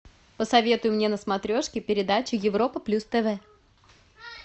посоветуй мне на смотрешке передачу европа плюс тв